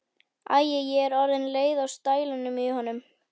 Æi, ég er orðin leið á stælunum í honum.